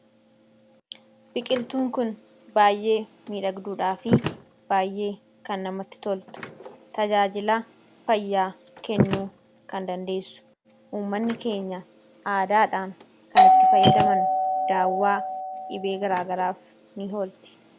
Biqiltuun kun baayyee miidhagdduudhaa fi baayyee kan namatti toltuu dha. Akkasumas tajaajila fayyaa kennuu kan dandeessuu fi uummatni keenya aadaadhaan kan itti fayyadamanii dha. Kunis daawwaa dhibee garaa garaaf kan ooltuu dha.